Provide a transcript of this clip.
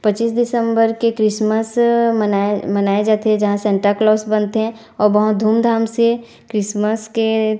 पच्चीस दिसंबर के क्रिसमसअ मनाय मनाया जाथे जहाँ सांताक्लॉस बनथे और बहुत धूमधाम से क्रिसमस के --